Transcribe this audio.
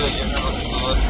Dayanaq, dayanmaq.